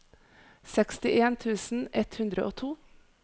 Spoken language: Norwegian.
sekstien tusen ett hundre og to